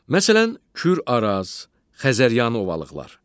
Məsələn, Kür-Araz, Xəzəryanı ovalıqlar.